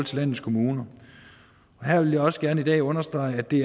til landets kommuner her vil jeg også gerne i dag understrege at det